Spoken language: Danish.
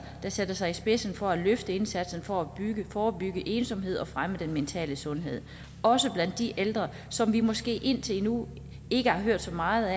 der sætter sig i spidsen for at løfte indsatsen for at forebygge ensomhed og fremme den mentale sundhed også blandt de ældre som vi måske indtil nu ikke har hørt så meget